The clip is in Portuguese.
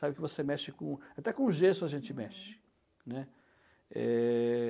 Sabe que você mexe com... até com o gesso a gente mexe, né? Eh...